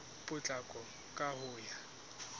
ka potlako ka ho ya